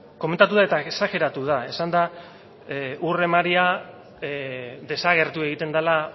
eta exageratu da esan da ur emaria desagertu egiten dela